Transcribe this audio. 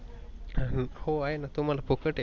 हो आहे ना तुम्हाला फुकट आहे.